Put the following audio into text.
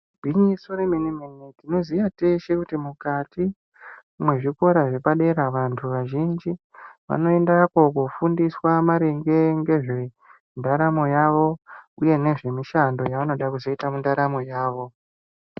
Igwinyiso re mene mene tinoziya teshe mukati mwe zvikora zvepa dera vantu vazhinji vano endako ku fundiswa maringe ngezve ndaramo yavo uye nezve mushando ya vanoda kuzoita mu ndaramo yavo.